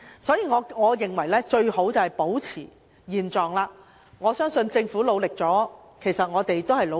所以，我認為最好保持現狀，我相信政府已作出努力，我們也作出努力。